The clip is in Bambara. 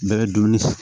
Bɛɛ bɛ dumuni